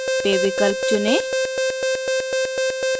pay विकल्प चुनें